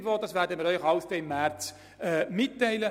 All das werden wir Ihnen im März mitteilen.